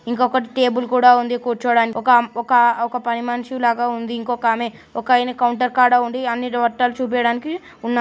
ఇంకా ఒకటి టేబుల్ కూడా ఉంది కూర్చోడానికి. ఒక ఒక ఒక పని మనిషి లాగా ఉంది ఇంకొక ఆమె. ఒకాయన కౌంటర్ కాడ ఉండి అన్ని బట్టలు చూపియ్యడానికి ఉన్నా--